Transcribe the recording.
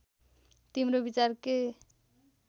तिम्रो विचार के